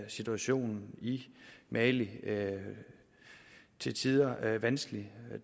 situationen i mali til tider vanskelig det